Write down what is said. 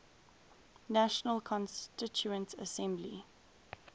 national constituent assembly